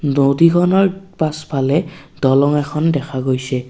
নদীখনৰ পাছফালে দলং এখন দেখা গৈছে।